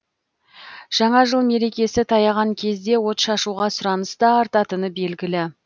жаңа жыл мерекесі таяған кезде отшашуға сұраныс та артатыны белгілі